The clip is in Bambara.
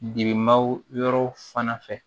Demaw yɔrɔw fana fɛ